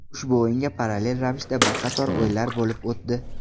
Ushbu o‘yinga parallel ravishda bir qator o‘yinlar bo‘lib o‘tdi.